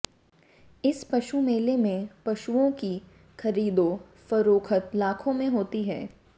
इस पशु मेले में पशुओं की खरीदो फरोख्त लाखों में होती है